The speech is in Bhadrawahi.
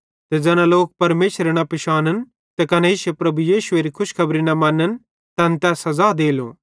ते ज़ैना लोक परमेशरे न पिशानन् त कने इश्शे प्रभु यीशुएरे खुशखेबरी न मन्न तैन तै सज़ा देलो